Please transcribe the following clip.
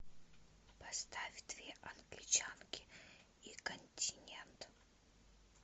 поставь две англичанки и континент